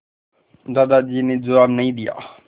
दादाजी ने जवाब नहीं दिया